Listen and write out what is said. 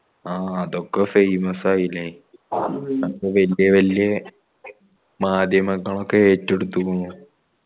ആ അതൊക്കെ famous ആയില്ലേ അപ്പൊ വെല്യ വെല്യ മാധ്യമങ്ങളൊക്കെ എട്ടാടത്തിക്കണു